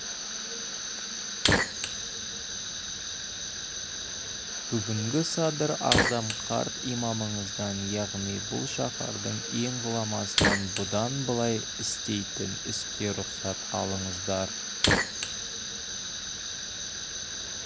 бүгінгі садыр ағзам қарт имамыңыздан яғни бұл шаһардың ең ғұламасынан бұдан былай істейтін іске рұқсат алдыңыздар